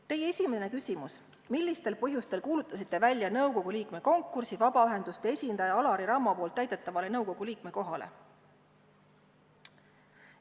Teie esimene küsimus: "Millistel põhjustel kuulutasite välja nõukogu liikme konkursi vabaühenduste esindaja Alari Rammo poolt täidetavale nõukogu liikme kohale?